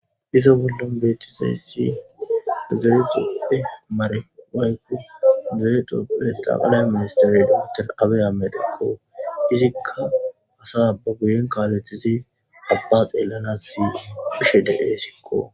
Izo bollon beetizeyssi zeexoppe mare wayku zeexoppe daalay ministeremater abe ametikko izikka hasaba guyen kaaletizi abba xeellana si phishe dede sikko.